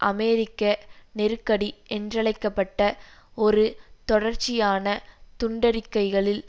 அமெரிக்க நெருக்கடி என்றழைக்க பட்ட ஒரு தொடர்ச்சியான துண்டறிக்கைகளில்